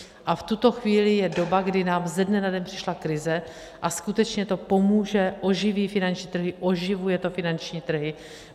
A v tuto chvíli je doba, kdy nám ze dne na den přišla krize, a skutečně to pomůže, oživí finanční trhy, oživuje to finanční trhy.